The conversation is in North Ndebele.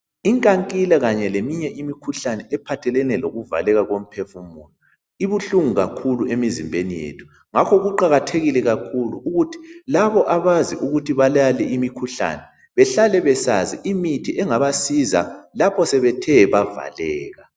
Inkankila kanye leminye imikhuhlane ephathelane lokuvaleka lokuphefumula ibuhlungu kakhulu emzimbeni yethu ngakho kuqakathekile kakhulu ukuthi labo abazi ukuthi babale imikhuhlane behlale besazi imithi engabasiza lapho sebethe bavàleka.